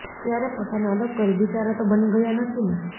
ત્યારે પોતાને અલગ કરી બીચારા તો બની ગયા નથીને